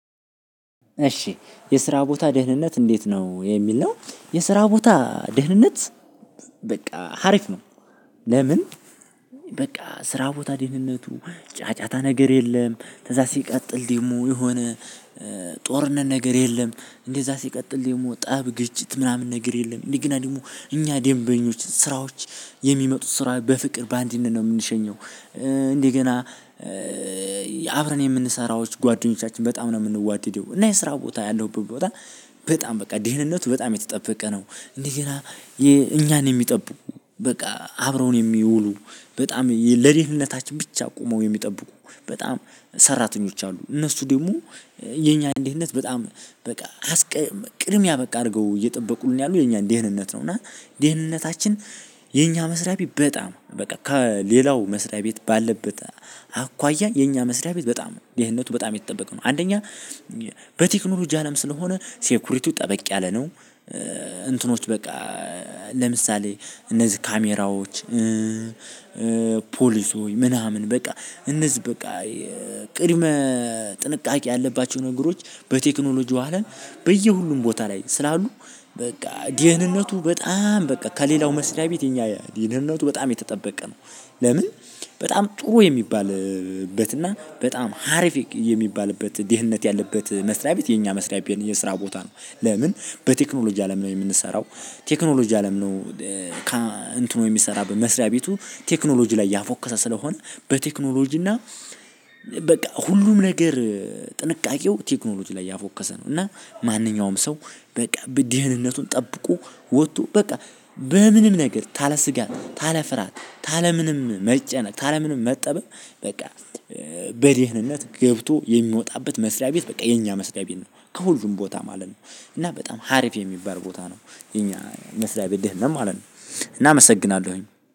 እሺ፣ የስራ ቦታ ደህንነት እንዴት ነው? የሚል ነው፤ የስራ ቦታ ደህንነት በቃ ሀሪፍ ነው፤ ለምን በቃ ስራ ቦታ ደህንነቱ ጫጫታ ነገር የለም፤ ከዛ ሲቀጥል ደግሞ የሆነ ጦርነት ነገር የለም፤ እንደዛ ሲቀጥል ደግሞ ጣብ፣ ግጭት፣ ምናምን ነገር የለም፤ እንደገና ደግሞ እኛ ደንበኞች ስራዎች የሚመጡት ስራ በፍቅር፣ በአንድነት፣ ነው የምንሸኘው፤ እንደገና አብረን የምንሰራዎች ጓደኞቻችን በጣም ነው የምንዋድደው እና የስራ ቦታ ያለውበት ቦታ በጣም በቃ ድህንነቱ በጣም የተጠበቀ ነው፤ እንደገና እኛን የሚጠብቁ በቃ አብረውን የሚውሉ በጣም ለደህንነታችን ብቻ ቆመው የሚጠብቁ በጣም ሰራተኞች አሉ፤ እነሱ ደግሞ የኛ ደህንነት በጣም በቃ ቅድሚያ በቃ አድርገው እየጠበቁልን ያሉ የኛን ደህንነት ነው። እና ደህንነታችን የኛ መስሪያ ቤት በጣም በቃ ከሌላው መስሪያ ቤት ባለበት አኳያ የኛ መስሪያ ቤት በጣም ደህንነቱ በጣም የተጠበቀ ነው። አንደኛ በቴክኖሎጂ አለም ስለሆነ ሴኩሪቲው ጠበቅ ያለ ነው፣ እንትኖች በቃ ለምሳሌ እነዚህ ካሜራዎች ፖሊሶች ምናምን በቃ እነዚህ በቃ ቅድመ ጥንቃቄ ያለባቸው ነገሮች በቴክኖሎጂው አለም በየሁሉም ቦታ ላይ ስላሉ በቃ ደህንነቱ በጣም! በቃ ከሌላው መስሪያ ቤት የኛ ደህንነቱ በጣም የተጠበቀ ነው። ለምን በጣም ጥሩ የሚባልበት እና በጣም አሪፍ የሚባልበት ድህነት ያለበት መስሪያ ቤት የኛ መስሪያ ቤት የስራ ቦታ ነው። ለምን በቴክኖሎጂ አለም ነው የምንሰራው ቴክኖሎጂ አለም ነው እንትኑ የሚሰራበት መስሪያ ቤቱ ቴክኖሎጂ ላይ ያፎከሰ ስለሆነ በቴክኖሎጂ እና በቃ ሁሉም ነገር ጥንቃቄው ቴክኖሎጂ ላይ ያፎከሰ ነው። እና ማንኛውም ሰው በቃ ደህንነቱን ጠብቆ ወጥቶ በቃ በምንም ነገር ካለ ስጋት፣ ካለ ፍርሃት፣ ካለ ምንም መጨነቅ፣ ካለ ምንም መጠበብ በቃ በደህንነት ገብቶ የሚወጣበት መስሪያ ቤት በቃ የኛ መስሪያ ቤት ነው። ከሁሉም ቦታ ማለት ነው እና በጣም አሪፍ የሚባል ቦታ ነው የኛ መስሪያ ቤት ድህነት ማለት ነው እና አመሰግናለሁኝ።